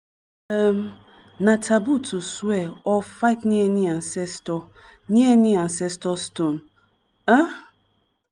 um na taboo to swear or fight near any ancestor near any ancestor stone. um